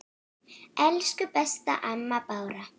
Elsku besta amma Bára.